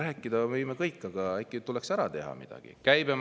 Rääkida võime kõik, aga äkki tuleks ära teha midagi?